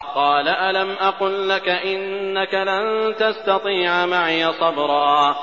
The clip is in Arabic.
۞ قَالَ أَلَمْ أَقُل لَّكَ إِنَّكَ لَن تَسْتَطِيعَ مَعِيَ صَبْرًا